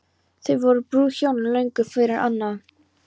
Þá voru brúðhjónin löngu farin annað.